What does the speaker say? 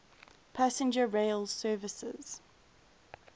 passenger rail services